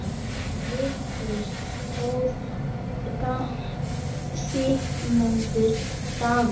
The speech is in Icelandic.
Vigdís styður Sigmund Davíð.